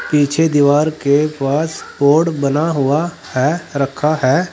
पीछे दीवार के पास बोर्ड बना हुआ है रखा है।